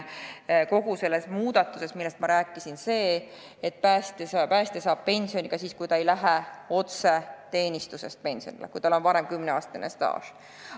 Kogu selles muudatuses, millest ma rääkisin, on aga oluline see, et päästja saab suuremat pensioni ka siis, kui ta ei lähe pensionile otse teenistusest, aga 10 aasta pikkune staaž on välja teenitud.